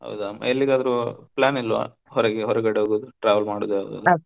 ಹೌದಾ ಎಲ್ಲಿಗಾದ್ರೂ plan ಇಲ್ವಾ ಹೊರಗೆ ಹೊರಗಡೆ ಹೋಗೋದು travel ಮಾಡುದು .